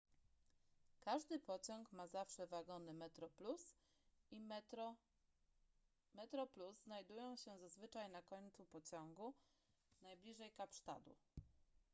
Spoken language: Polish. każdy pociąg ma zawsze wagony metroplus i metro metro plus znajdują się zazwyczaj na końcu pociągu najbliżej kapsztadu